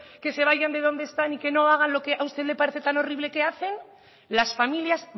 que se vayan de donde están y que no hagan lo que a usted le parece tan horrible que hacen las familias